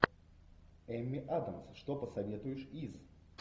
эмми адамс что посоветуешь из